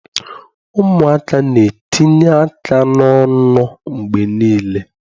Ụmụaka na-etinye aka n'ọnụ mgbe niile.